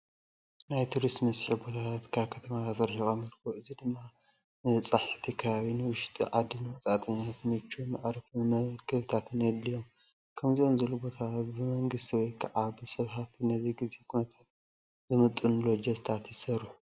ናይ ቱሪስት መስሐቢ ቦታታት ካብ ከተማታት ሪሒቆም ይርከቡ። እዚ ድማ ንበፃህቲ ከባቢ ንውሽጢ ዓድን ወፃእተኛታት ምችው መዕረፍን መመገብታትን የድልዮም። ከምዚኦም ዝበሉ ቦታታት ብመንግስቲ ወይ ከዓ ብሰብ ሃፍቲ ነቲ ግዜ ኩነታት ዝምጥኑ ሎጀታት ይስርሑ።